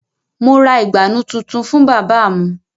Mo ra ìgbànú tuntun fún bábà mu